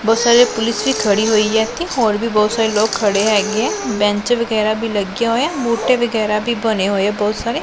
ਬਹੁਤ ਸਾਰੇ ਪੁਲਿਸ ਵੀ ਖੜੀ ਹੋਈ ਹੈ ਇੱਥੇ ਹੋਰ ਵੀ ਬਹੁਤ ਸਾਰੇ ਲੋਕ ਖੇਡ ਹੈਗੇ ਹੈਂ ਬੈਂਚ ਵਗੈਰਾ ਵੀ ਲੱਗਿਆ ਹੋਇਆ ਬੂਟੇ ਵਗੈਰਾ ਵੀ ਬਣੇ ਹੋਏਆ ਬਹੁਤ ਸਾਰੇ।